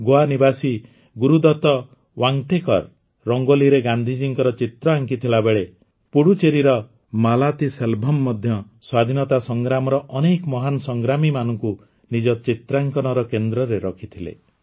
ଗୋଆ ନିବାସୀ ଗୁରୁଦତ ୱାଂଟେକର୍ ରଙ୍ଗୋଲିରେ ଗାନ୍ଧିଜୀଙ୍କ ଚିତ୍ର ଆଙ୍କିଥିବାବେଳେ ପୁଡୁଚେରୀର ମାଲାତିସେଲ୍ଭମ୍ ମଧ୍ୟ ସ୍ୱାଧୀନତା ସଂଗ୍ରାମର ଅନେକ ମହାନ ସଂଗ୍ରାମୀମାନଙ୍କୁ ନିଜ ଚିତ୍ରାଙ୍କନର କେନ୍ଦ୍ରରେ ରଖିଥିଲେ